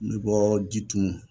N bɛ bɔ Jitumu